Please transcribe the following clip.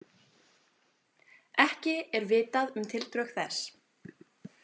Ekki er vitað um tildrög þess